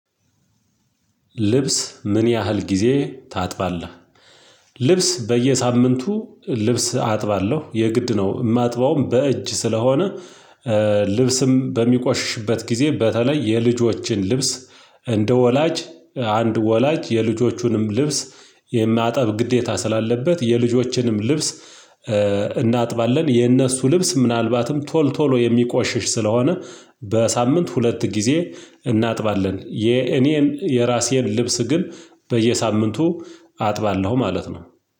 ልብስ ምን ያህል ጊዜ ታጥባለህ? ልብስ በየሳምንቱ ልብስ አጥባለሁ። የግድ ነው። ማጥበውም በእጅ ስለሆነ ልብስም በሚቆሽሽበት ጊዜ በተለይ የልጆችን ልብስ እንደ ወላጅ አንድ ወላጅ የልጆቹንም ልብስ የማጠብ ግዴታ ስላለበት የልጆችንም ልብስ እናጥባለን። የእነሱ ልብስ ምናልባትም ቶል ቶሎ የሚቆሽሽ ስለሆነ በሳምንት ሁለት ጊዜ እናጥባለን። የኔን የራሴን ልብስ ግን በየሳምንቱ አጥባለሁ ማለት ነው።